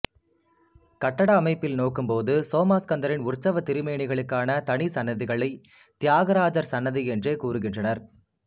கட்டட அமைப்பில் நோக்கும்போது சோமாஸ்கந்தரின் உற்சவத் திருமேனிகளுக்கான தனி சன்னதிகளை தியாகராஜர் சன்னதி என்றே கூறுகின்றனர்